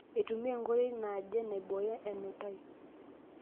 Aitumia nkoitoi naaje naibooyo enutai.